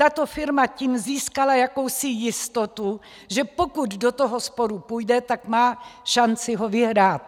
Tato firma tím získala jakousi jistotu, že pokud do toho sporu půjde, tak má šanci ho vyhrát.